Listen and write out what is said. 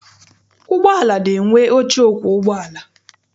Ụgbọala na-enwe oche ọkwọ ụgbọala.